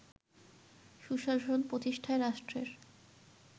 সুশাসন প্রতিষ্ঠায় রাষ্ট্রের